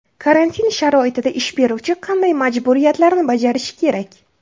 Karantin sharoitida ish beruvchi qanday majburiyatlarni bajarishi kerak?